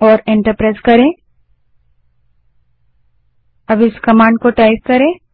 करें और एंटर दबायें